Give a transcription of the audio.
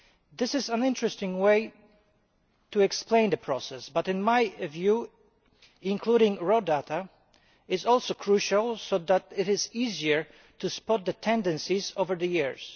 This is an interesting way to explain the process but, in my view, including raw data is also crucial so that it is easier to spot the tendencies over the years.